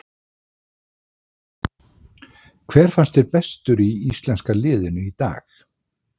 Hver fannst þér bestur í íslenska liðinu í dag?